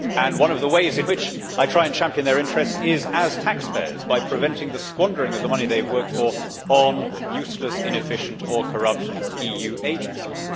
One of the ways in which I try and champion their interests as taxpayers is by preventing the squandering of the money they have worked for on useless, inefficient or corrupt EU agencies.